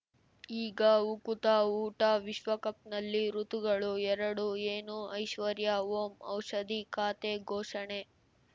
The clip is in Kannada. ಈಗ ಉಕುತ ಊಟ ವಿಶ್ವಕಪ್‌ನಲ್ಲಿ ಋತುಗಳು ಎರಡು ಏನು ಐಶ್ವರ್ಯಾ ಓಂ ಔಷಧಿ ಖಾತೆ ಘೋಷಣೆ